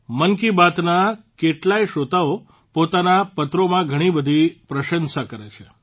મન કી બાતના કેટલાય શ્રોતાઓ પોતાના પત્રોમાં ઘણીબધી પ્રશંસા કરે છે